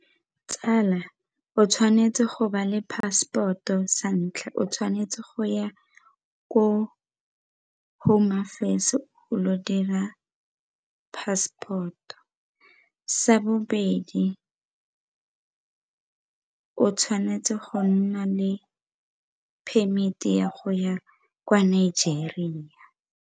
Tsala o tshwanetse go ba le passport-o sa ntlha, o tshwanetse go ya ko home affairs o lo dira passport-o, sa bobedi o tshwanetse go nna le permit-i ya go ya kwa Nigeria.